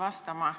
Aitäh!